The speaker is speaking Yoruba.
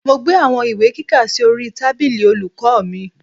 Mo gbé àwọn ìwé kíkà sí orí tábìlì olùkọ́ mi